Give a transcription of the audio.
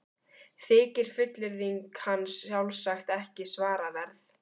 Þykir fullyrðing hans sjálfsagt ekki svaraverð.